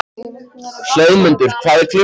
Hlöðmundur, hvað er klukkan?